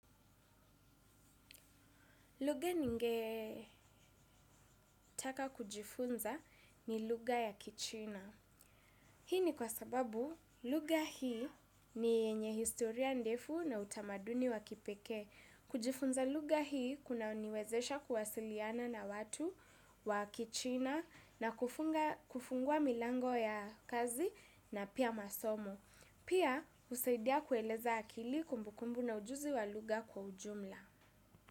Lugha ninge taka kujifunza ni lugha ya kichina. Hii ni kwa sababu lugha hii ni yenye historia ndefu na utamaduni wa kipekee. Kujifunza lugha hii kunaniwezesha kuwasiliana na watu wa kichina na kufungua milango ya kazi na pia masomo. Pia husaidia kueleza akili kumbukumbu na ujuzi wa lugha kwa ujumla.